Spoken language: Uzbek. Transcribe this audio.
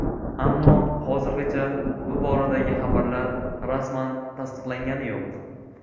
Ammo hozirgacha bu boradagi xabarlar rasman tasdiqlangani yo‘q.